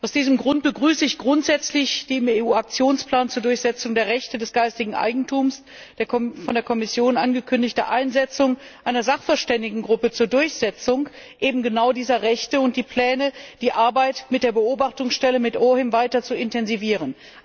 Aus diesem Grund begrüße ich grundsätzlich die im EU Aktionsplan zur Durchsetzung der Rechte des geistigen Eigentums von der Kommission angekündigte Einsetzung einer Sachverständigengruppe zur Durchsetzung eben genau dieser Rechte und die Pläne, die Arbeit mit der Beobachtungsstelle, mit OHIM, weiter zu intensivieren.